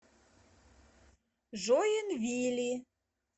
жоинвили